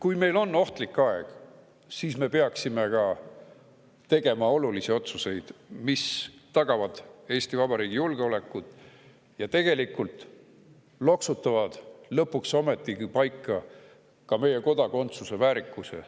Kui meil on ohtlik aeg, siis me peaksime tegema olulisi otsuseid, mis tagavad Eesti Vabariigi julgeoleku ja loksutavad lõpuks ometi paika ka meie kodakondsuse väärikuse.